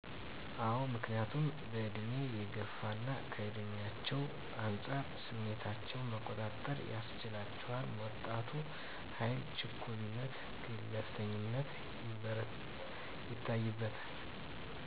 አዎ ምክንያቱም በእድሜ የገፉና ከእድሜቸው አንፃር ስሜታቸው መቆጣጠር ያስችላቸዋል ወጣቱ ኃይል ችኩልነትና ግንፍልተኝነት ይታይበታል